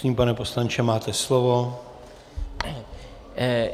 Prosím, pane poslanče, máte slovo.